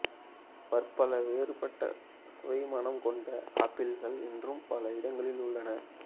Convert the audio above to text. பற்பல வேறுபட்ட சுவைமணம் கொண்ட ஆப்பிள்கள் இன்றும் பல இடங்களில் உள்ளன